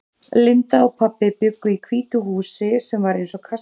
Linda og pabbi bjuggu í hvítu húsi sem var eins og kastali.